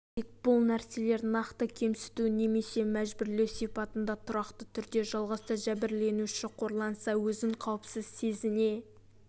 тек бұл нәрселер нақты кемсіту немесе жәбірлеу сипатында тұрақты түрде жалғасса жәбірленуші қорланса өзін қауіпсіз сезіне